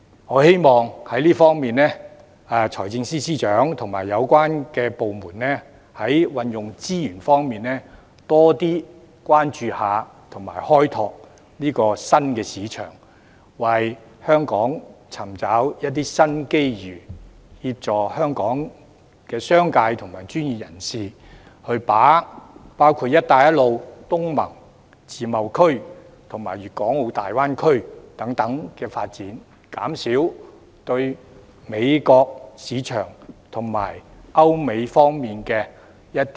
我希望財政司司長及有關部門在運用資源方面，多點關注及開拓新市場，為香港尋找新機遇，協助香港的商界及專業人士把握"一帶一路"、東盟、自貿區及粵港澳大灣區等發展，減少對歐美市場的倚賴。